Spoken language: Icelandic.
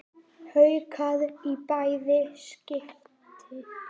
Haukar í bæði skipti.